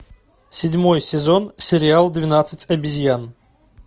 седьмой сезон сериал двенадцать обезьян